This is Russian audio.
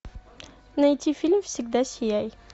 найти фильм всегда сияй